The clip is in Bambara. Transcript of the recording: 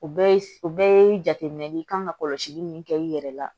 O bɛɛ ye o bɛɛ ye jateminɛ ye i kan ka kɔlɔsili min kɛ i yɛrɛ la